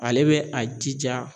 Ale bɛ a jija